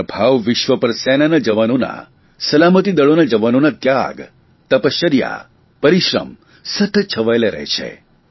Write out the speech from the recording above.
મારા ભાવિ વિશ્વ પર સેનાના જવાનોની સલામતિ દળોના જવાનોના ત્યાગ તપશ્ચર્યા પરિશ્રમ સતત છવાયેલા રહે છે